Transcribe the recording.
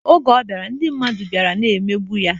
Oge ọ bịara, ndị mmadụ bịara na-emegbu ya.